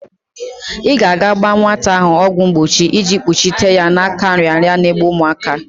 I ga-aga gba nwata ahụ ọgwọ mgbochi iji kpuchite ya n'aka nrịanrịa n'egbu umuaka.